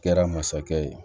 Kɛra masakɛ ye